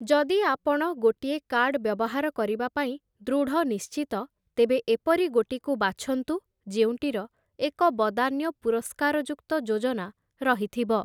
ଯଦି ଆପଣ ଗୋଟିଏ କାର୍ଡ଼୍‌ ବ୍ୟବହାର କରିବା ପାଇଁ ଦୃଢ଼ନିଶ୍ଚିତ, ତେବେ ଏପରି ଗୋଟିକୁ ବାଛନ୍ତୁ ଯେଉଁଟିର, ଏକ ବଦାନ୍ୟ ପୁରସ୍କାରଯୁକ୍ତ ଯୋଜନା ରହିଥିବ ।